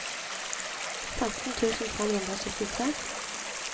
femten tusen fem hundre og syttitre